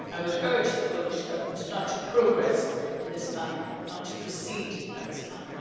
I would urge the Polish government not to progress in this manner and not to proceed in this manner.